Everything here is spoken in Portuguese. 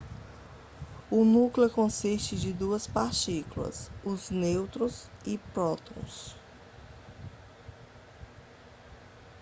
o núcleo consiste de duas partículas os nêutrons e prótons